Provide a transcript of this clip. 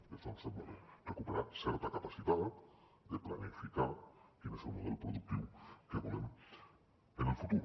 i això ens sembla bé recuperar certa capacitat de planificar quin és el model productiu que volem en el futur